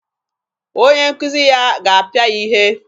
Onye nkuzi ya ga-apịa ya ihe.